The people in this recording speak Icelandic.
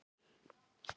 Eva: Hvar sitjið þið?